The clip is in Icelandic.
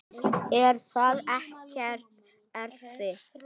Er það ekkert erfitt?